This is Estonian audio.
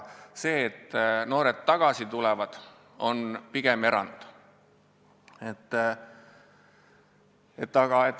See, et noored tagasi tulevad, on pigem erand.